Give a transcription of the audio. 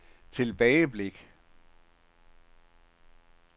tilbageblik